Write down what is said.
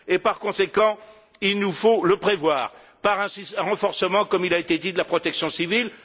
Par conséquent, il nous faut le prévoir par un renforcement, comme il a été dit, de la protection civile.